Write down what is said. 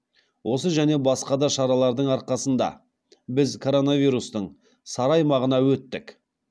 осы және басқа да шаралардың арқасында біз коронавирустың сары аймағына өттік